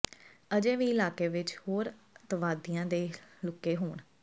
ਅਜੇ ਵੀ ਇਲਾਕੇ ਵਿਚ ਦੋ ਹੋਰ ਅੱਤਵਾਦੀਆਂ ਦੇ ਲੁਕੇ ਹੋਣ